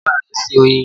Ṣe bàbá rẹ ń sin oyin?